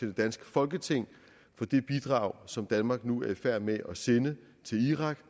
det danske folketing for det bidrag som danmark nu er i færd med at sende til irak